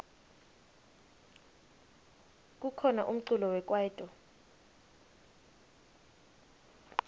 kukhona umculo wekwaito